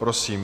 Prosím.